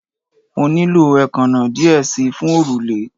Mo nilo eekanna diẹ sii fun orule